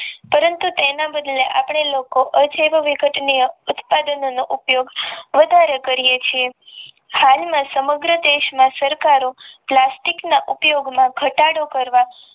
પરંતુ તેના બદલે આપડે લોકો જેવવિઘટન નો ઉપયોગ વધારે કરીયે છીએ હાલમ આ સમગ્ર દેશ માં સરકારો પ્લાસ્ટિક ના ઉપયોગ માં ઘટાડો